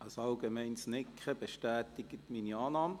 – Ein allgemeines Nicken bestätigt meine Annahme.